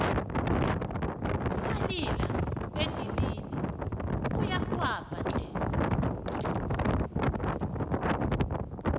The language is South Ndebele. umalila edinini uyarhelbha tle